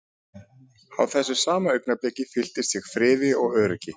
Á þessu sama augnabliki fylltist ég friði og öryggi.